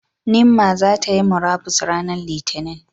Nimmah zai ta Yi murabus ranar Litinin,